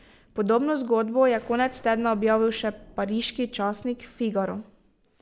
Podobno zgodbo je konec tedna objavil še pariški časnik Figaro.